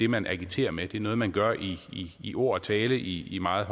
man agiterer med det er noget man gør i i ord og tale i i meget